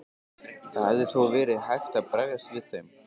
Það hefði þó verið hægt að bregðast við þeim.